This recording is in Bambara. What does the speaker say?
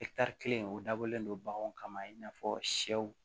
kelen o dabɔlen don baganw kama i n'a fɔ sɛw